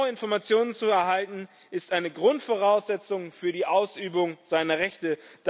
Genaue Informationen zu erhalten, ist eine Grundvoraussetzung für die Ausübung seiner Rechte.